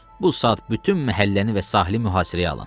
Bu saat bütün məhəlləni və sahili mühasirəyə alın.